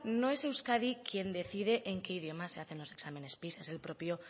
no es euskadi quien decide en qué idioma se hacen los exámenes pisa es el propio